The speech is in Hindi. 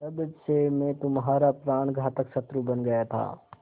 तब से मैं तुम्हारा प्राणघातक शत्रु बन गया था